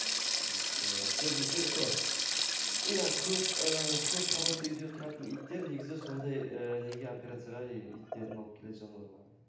вот ыыы көбінесе сол иә ыыы көп қабатты үйде тұратын иттер негізі сондай ыыы неге операцияға иттерін алып келеді жануарларын